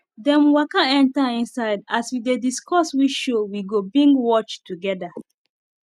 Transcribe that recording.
them waka enter inside as we dey discuss which show we go bingewatch together